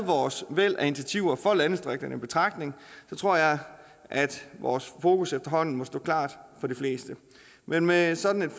vores væld af initiativer for landdistrikterne taget i betragtning tror jeg at vores fokus efterhånden må stå klart for de fleste men med sådan et